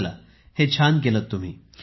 चला हे छान केलं तुम्ही